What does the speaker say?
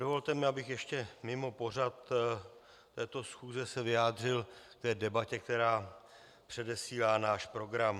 Dovolte mi, abych ještě mimo pořad této schůze se vyjádřil k debatě, která předesílá náš program.